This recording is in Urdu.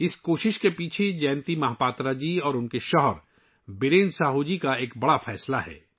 اس کوشش کے پیچھے جینتی مہاپاترا جی اور ان کے شوہر برین ساہو جی کا بڑا فیصلہ ہے